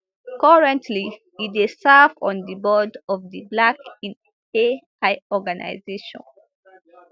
currently e dey serve on di board of di black in ai organization